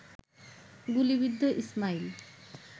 গুলিবিদ্ধ ইসমাইল